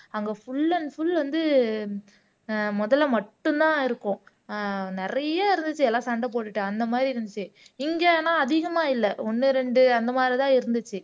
அங்க full and full வந்து அஹ் முதலை மட்டும்தான் இருக்கும் அஹ் நிறைய இருந்துச்சு எல்லாம் சண்டை போட்டுட்டு அந்த மாதிரி இருந்துச்சு இங்க ஆனா அதிகமா இல்ல ஒண்ணு ரெண்டு அந்த மாரிதான் இருந்துச்சு